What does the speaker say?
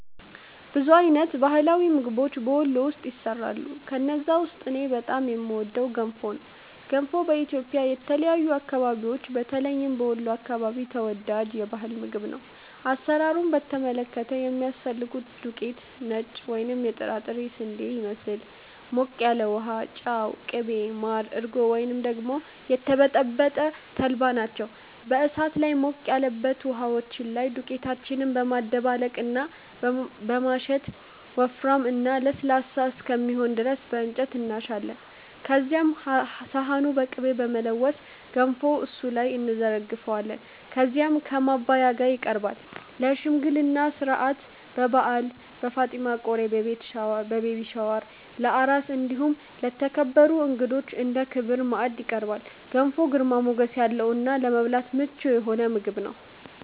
ብዙ አይነት የባህላዊ ምግቦች በ ወሎ ውስጥ ይሰራሉ። ከነዛ ውስጥ እኔ በጣም የምወደው ገንፎ ነው። ገንፎ በኢትዮጵያ የተለያዩ አከባቢዎች በተለይም በ ወሎ አከባቢ ተወዳጅ የ ባህል ምግብ ነው። አሰራሩን በተመለከተ የሚያስፈልገን ዱቄት(ነጭ ወይም የጥራጥሬ ስንዴን ይመስል)፣ ሞቅ ያለ ውሃ፣ ጨው፣ ቅቤ፣ ማር፣ እርጎ ወይም ደግሞ የተበጠበጠ ተልባ ናቸው። በ እሳት ላይ ሞቅ ያለበት ውሃችን ላይ ዱቄታችንን በማደባለቅ እና በማሸት ወፍራም እና ለስላሳ እስከሚሆን ድረስ በ እንጨት እናሻለን። ከዚያም ሰሃኑን በ ቅቤ በመለወስ ገንፎውን እሱ ላይ እንዘረግፈዋለን። ከዚያም ከ ማባያው ጋ ይቀርባል። ለ ሽምግልና ስነስርዓት፣ በ በዓል፣ በ ፋጢማ ቆሪ(ቤቢ ሻወር) ፣ለ አራስ እንዲሁም ለተከበሩ እንግዳዎች እንደ ክቡር ማዕድ ይቀርባል። ገንፎ ግርማ ሞገስ ያለው እና ለመብላት ምቹ የሆነ ምግብ ነው።